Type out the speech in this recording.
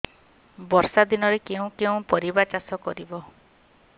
ବର୍ଷା ଦିନରେ କେଉଁ କେଉଁ ପରିବା ଚାଷ କରିବା